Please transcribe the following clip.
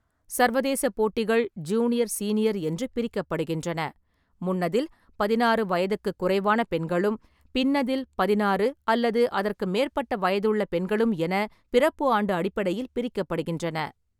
சர்வதேச போட்டிகள் junior, senior என்று பிரிக்கப்படுகின்றன, முன்னதில் பதினாறு வயதுக்குக் குறைவான பெண்களும் பின்னதில் பதினாறு அல்லது அதற்கு மேற்பட்ட வயதுள்ள பெண்களும் என பிறப்பு ஆண்டு அடிப்படையில் பிரிக்கப்படுகின்றன.